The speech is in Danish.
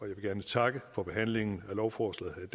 vil gerne takke for behandlingen af lovforslaget